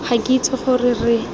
ga ke itse gore re